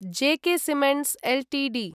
जॆ K cements Ltd